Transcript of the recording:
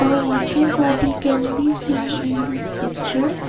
uh water body can be seen in this picture.